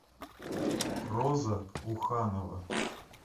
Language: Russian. роза уханова